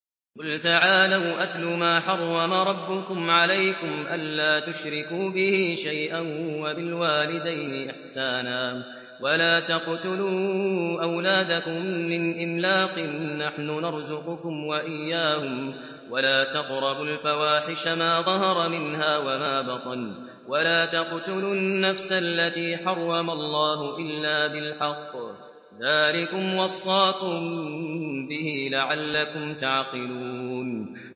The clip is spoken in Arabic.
۞ قُلْ تَعَالَوْا أَتْلُ مَا حَرَّمَ رَبُّكُمْ عَلَيْكُمْ ۖ أَلَّا تُشْرِكُوا بِهِ شَيْئًا ۖ وَبِالْوَالِدَيْنِ إِحْسَانًا ۖ وَلَا تَقْتُلُوا أَوْلَادَكُم مِّنْ إِمْلَاقٍ ۖ نَّحْنُ نَرْزُقُكُمْ وَإِيَّاهُمْ ۖ وَلَا تَقْرَبُوا الْفَوَاحِشَ مَا ظَهَرَ مِنْهَا وَمَا بَطَنَ ۖ وَلَا تَقْتُلُوا النَّفْسَ الَّتِي حَرَّمَ اللَّهُ إِلَّا بِالْحَقِّ ۚ ذَٰلِكُمْ وَصَّاكُم بِهِ لَعَلَّكُمْ تَعْقِلُونَ